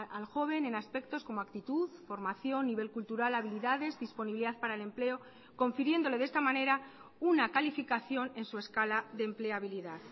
al joven en aspectos como actitud formación nivel cultural habilidades disponibilidad para el empleo confiriéndole de esta manera una calificación en su escala de empleabilidad